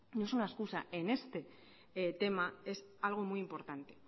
no es una excusa en este tema es algo muy importante